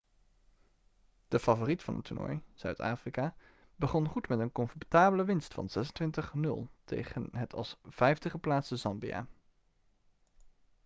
de favoriet van het toernooi zuid-afrika begon goed met een comfortabele winst van 26 - 00 tegen het als 5e geplaatste zambia